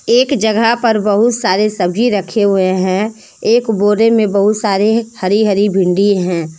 एक जगह में पर बहुत सारे सब्ज़ी रखे हुए हैं एक बोरे में बहुत सारे हरी हरी भिंडी हैं।